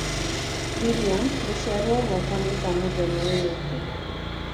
William gũciarwo gwakwa ni kwa mũthenya ũyũ ũngĩ